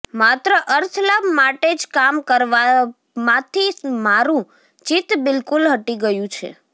માત્ર અર્થલાભ માટે જ કામ કરવામાંથી મારું ચિત્ત બિલકુલ હટી ગયું છે